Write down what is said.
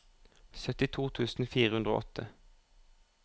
syttito tusen fire hundre og åtte